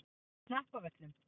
Hnappavöllum